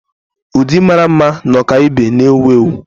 Ụdị mara mma na ọkaibe na-ewu ewu.